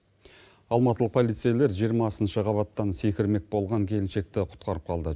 алматылық полицейлер жиырмасыншы қабаттан секірмек болған келіншекті құтқарып қалды